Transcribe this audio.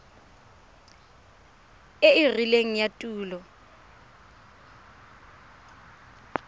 e e rileng ya tulo